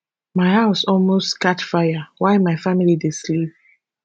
my house almost catch fire while my family dey sleep